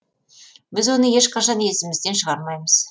біз оны ешқашан есімізден шығармаймыз